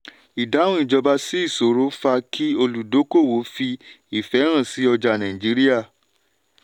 ìdáhùn ìjọba sí ìṣòro fa kí olùdókòwò fi ìfẹ́ hàn sí ọjà nàìjííríà.